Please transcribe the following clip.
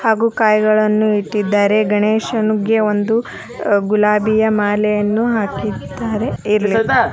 ಹಾಗೂ ಕಾಯಿಗಳನ್ನು ಇಟ್ಟಿದ್ದಾರೆ ಗಣೇಶನ್ಗೆ ಒಂದು ಗುಲಾಬಿಯ ಮಾಲೆಯನ್ನು ಹಾಕಿದ್ದಾರೆ .